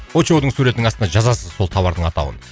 очоудың суретінің астына жазасыз сол тауардың атауын